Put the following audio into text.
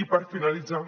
i per finalitzar